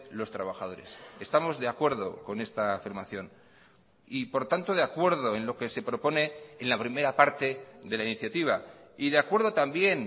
los trabajadores estamos de acuerdo con esta afirmación y por tanto de acuerdo en lo que se propone en la primera parte de la iniciativa y de acuerdo también